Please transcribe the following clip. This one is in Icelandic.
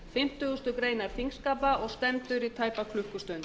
fimmtugustu grein þingskapa og stendur í tæpa klukkustund